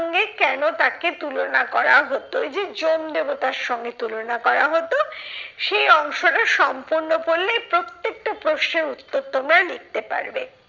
কেন তাকে তুলনা করা হতো ঐযে যম দেবতার সঙ্গে তুলনা করা হতো। সেই অংশটা সম্পূর্ণ পড়লেই প্রত্যেকটা প্রশ্নের উত্তর তোমরা লিখতে পারবে।